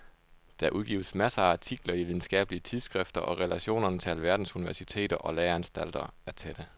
Der udgives masser af artikler i videnskabelige tidsskrifter og relationerne til alverdens universiteter og læreanstalter er tætte.